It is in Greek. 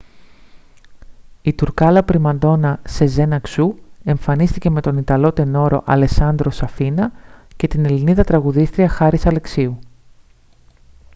η τουρκάλα πριμαντόνα σεζέν αξού εμφανίστηκε με τον ιταλό τενόρο αλεσάντρο σαφίνα και την ελληνίδα τραγουδίστρια χάρις αλεξίου